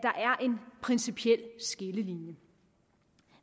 principiel skillelinje